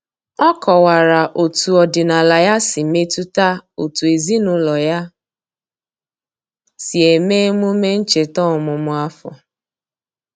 O kọwara otu ọdịnala ya si metụta otú ezinụlọ ya si eme emume ncheta ọmụmụ afọ.